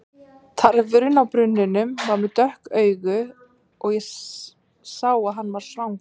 Tarfurinn á brunninum var með dökk augu og ég sá að hann var svangur.